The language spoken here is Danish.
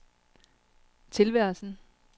tilværelsen